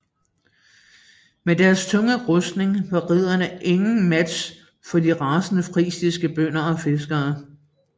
Med deres tunge rustning var ridderne ingen match for de rasende frisiske bønder og fiskere